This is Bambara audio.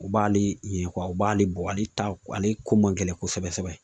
U b'ale ye u b'ale bɔ ale ta ale ko man gɛlɛn kosɛbɛ kosɛbɛ.